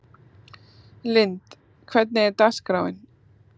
Lynd, hvernig er dagskráin?